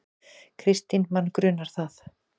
Kristín: Mann grunar það.